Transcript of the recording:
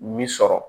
Min sɔrɔ